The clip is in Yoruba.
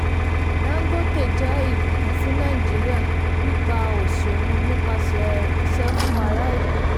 dangote jẹ́ ìbùkún fún nàìjíríà pípa òṣì run nípasẹ̀ iṣẹ́ fún ará ìlú.